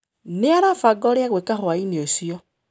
Nĩ arabanga ũrĩa egwĩka hwaĩinĩ ũcio.